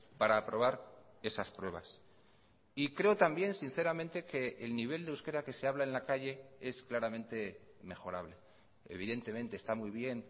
para aprobar esas pruebas y creo también sinceramente que el nivel de euskera que se habla en la calle es claramente mejorable evidentemente está muy bien